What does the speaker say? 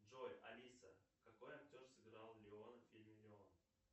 джой алиса какой актер сыграл леон в фильме леон